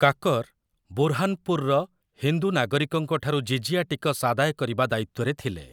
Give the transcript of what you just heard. କାକର୍ ବୁରହାନପୁର୍‌ର ହିନ୍ଦୁ ନାଗରିକଙ୍କଠାରୁ ଜିଜିୟା ଟିକସ ଆଦାୟ କରିବା ଦାୟିତ୍ୱରେ ଥିଲେ ।